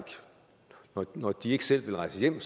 går når de ikke selv vil rejse hjem